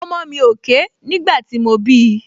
Ọmọ mi ò ké nígbà tí mo bí i